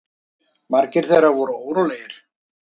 Margir þeirra voru órólegir.